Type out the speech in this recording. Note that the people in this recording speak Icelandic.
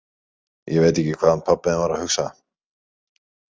Ég veit ekki hvað hann pabbi þinn var að hugsa!